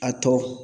A tɔ